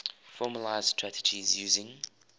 formalised strategies using